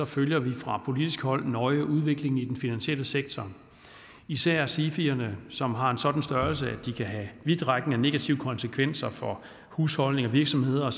følger vi fra politisk hold nøje udviklingen i den finansielle sektor især sifierne som har en sådan størrelse de kan have vidtrækkende negative konsekvenser for husholdninger virksomheder og